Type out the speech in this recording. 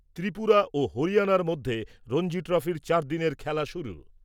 ত্রিপুরা ও হরিয়ানার মধ্যে রঞ্জি ট্রফির চারদিনের খেলা শুরু।